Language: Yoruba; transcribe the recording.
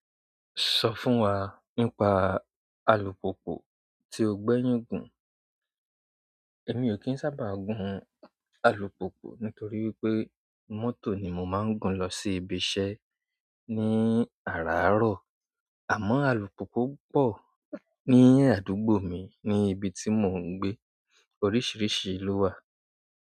Sọ fún wa nípa alùpùpù tí o gbẹ́yìn gùn. Èmi ò kí ń sábà gun alùpùpù nítorí wípé mọ́tò ni mo máa ń gun lọ sí ibiṣẹ́ ní àràárọ̀. Àmọ́ alùpùpù pọ̀ ní àdúgbò mi, ní ibi tí mò ń gbé. Oríṣìíríṣìí ló wà.